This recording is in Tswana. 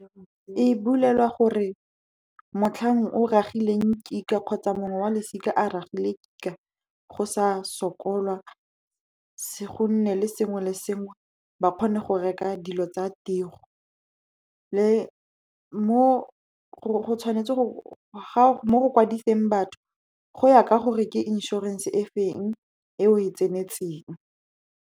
E bulelwa gore motlhang o ragile kika kgotsa mongwe wa losika a ragile kika, go sa sokolwa. Go nne le sengwe le sengwe, ba kgone go reka dilo tsa tiro, mo go kwadiseng batho, go ya ka gore ke inšorense e feng e o e tsenetseng.